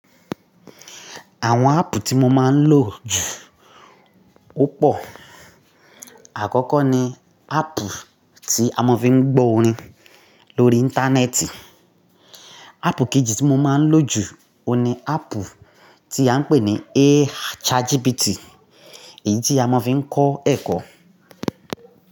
Àwọn áàpù tí mo máa ń lò jù o pọ̀. Àkọ́kọ́ ni áàpù tí a máa ń fi ń gbọ́ orin lórí Íńtánẹ́ẹ̀tì. Áàpù kejì tí mo máa ń lò jù ó ni áàpù tí à ń pè ní A ChatGPT, èyí tí a máa ń fi ń kọ́ ẹ̀kọ́